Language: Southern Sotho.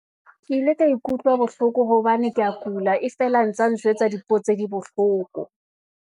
Ke ile ka ikutlwa bohloko, hobane ke ya kula, e fela ntsa njwetsa dipuo tse di bohloko.